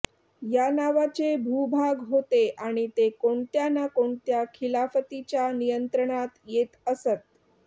या नावाचे भूभाग होते आणि ते कोणत्या ना कोणत्या खिलाफतीच्या नियंत्रणात येत असत